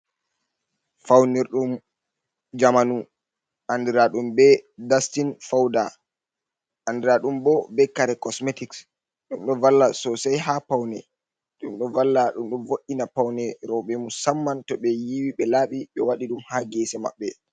Faunirdum jamanu andira ɗum be dustin fouda andiraɗum bo be kare cosmetics ɗum ɗo valla sosai ha paune, ɗum do valla ɗum vo’ina paune roɓe musamman to be yiwi be laabi ɓe waɗi ɗum ha gese maɓɓe.